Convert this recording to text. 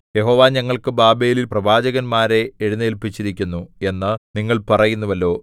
യഹോവ ഞങ്ങൾക്ക് ബാബേലിൽ പ്രവാചകന്മാരെ എഴുന്നേല്പിച്ചിരിക്കുന്നു എന്ന് നിങ്ങൾ പറയുന്നുവല്ലോ